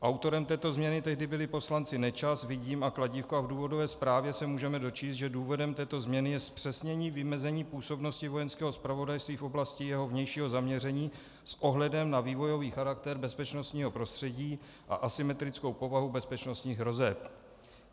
Autorem této změny tehdy byli poslanci Nečas, Vidím a Kladívko a v důvodové zprávě se můžeme dočíst, že důvodem této změny je zpřesnění vymezení působnosti Vojenského zpravodajství v oblasti jeho vnějšího zaměření s ohledem na vývojový charakter bezpečnostního prostředí a asymetrickou povahu bezpečnostních hrozeb.